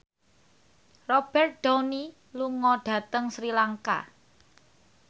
Robert Downey lunga dhateng Sri Lanka